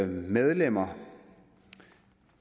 medlemmer